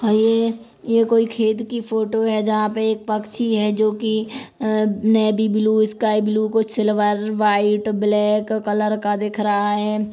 ये ये कोई खेत ही फोटो है जहाँ की एक पक्षी है जो की नेवी ब्लू स्काई ब्लू कुछ सिल्वर वाइट ब्लैक कलर का दिख रहा है।